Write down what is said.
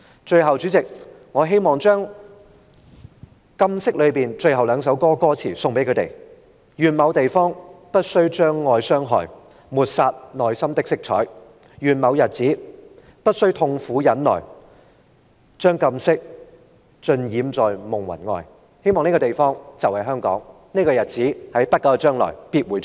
最後，主席，我希望將"禁色"中的最後兩句歌詞送給他們："願某地方不需將愛傷害抹殺內心的色彩願某日子不需苦痛忍耐將禁色盡染在夢魂外"我希望這個地方就是香港，而這個日子，也必會在不久的將來到臨。